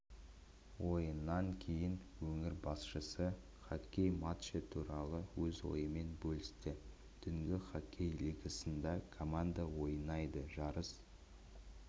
ойыннан кейін өңір басшысы хоккей матчы туралы өз ойымен бөлісті түнгі хоккей лигасында команда ойнайды жарыс